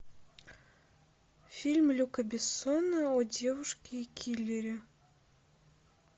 фильм люка бессона о девушке киллере